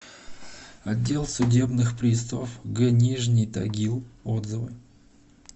отдел судебных приставов г нижний тагил отзывы